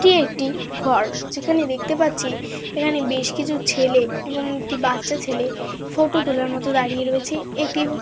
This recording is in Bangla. এটি একটি ঘর যেখানে দেখতে পাচ্ছি এখানে বেশ কিছু ছেলে এবং একটি বাচ্চা ছেলে ফটো তোলার মতো দাঁড়িয়ে রয়েছে একটি--